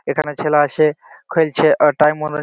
এখানে ছেলা আসে খেলছে আর টাইম অনু--